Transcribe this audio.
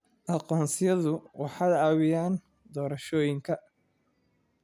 Aqoonsiyadu waxay caawiyaan doorashooyinka.